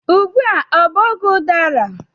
Ugbu a ọ bụ oge udara?